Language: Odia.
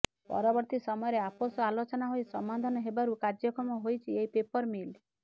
ପରବର୍ତୀ ସମୟରେ ଆପୋଷ ଆଲୋଚନା ହୋଇ ସମାଧାନ ହେବାରୁ କାର୍ଯ୍ୟକ୍ଷମ ହୋଇଛି ଏହି ପେପର ମିଲ୍